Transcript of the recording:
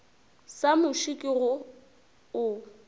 sa muši ke go o